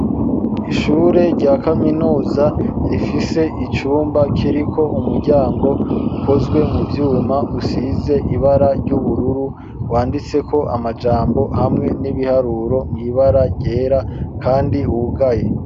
Ishure rya kaminuza rifise icumba kiriko umuryango ukozwe mu Vyuma usize ibara ry'ubururu wanditse ko amajambo hamwe n'ibiharuro mwibara ryera kandi wugaye.